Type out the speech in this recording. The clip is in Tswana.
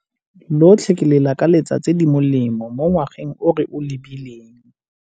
Lotlhe ke le lakaletsa tse di molemo mo ngwageng o re o lebileng.